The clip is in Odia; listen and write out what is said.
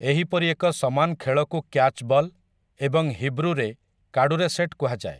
ଏହି ପରି ଏକ ସମାନ ଖେଳକୁ କ୍ୟାଚ୍ ବଲ୍, ଏବଂ ହିବ୍ରୁରେ, କାଡୁରେଶେଟ୍ କୁହାଯାଏ ।